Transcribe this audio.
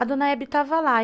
A dona Hebe estava lá.